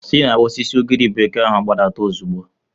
Si n'osisi ugiri bekee ahụ gbadata ozugbo!